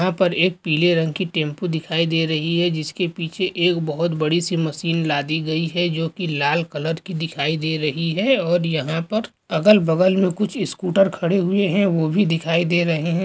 यहाँ पर एक पिले रंग कि टेम्पो दिखाई दे रही है जिसके पीछे एक बहुत बड़ी सी मशिन लादी गई है जो कि लाल कलर कि दिखाई दे रही है और यहा पर अगल बगल मे कुछ स्कूटर खड़ी हुए हैं वो भी दिखाई दे रहे हैं ।